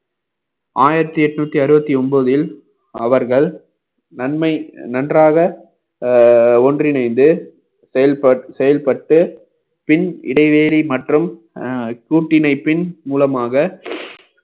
ஆயிரத்தி எட்நூத்தி அறுபத்தி ஒன்பதில் அவர்கள் நன்மை நன்றாக அஹ் ஒன்றிணைந்து செயல்~ செயல்பட்டு பின் இடைவெளி மற்றும் அஹ் கூட்டினைபின் மூலமாக